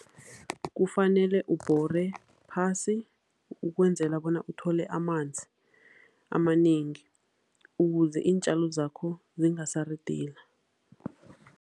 Kufanele ubhore phasi ukwenzela bona uthole amanzi amanengi, ukuze iintjalo zakho zingasaridila.